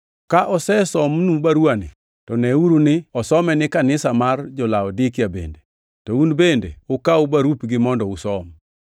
Ka osesomnu baruwani, to neuru ni osome ni kanisa mar jo-Laodikia bende. To Un bende ukaw barupgi mondo usom.